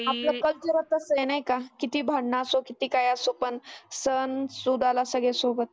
आपलं कल्चरचं आसं आहे नाही का? किती भांडन असो किती काही असो पण सण सुदाला सगळे सोबत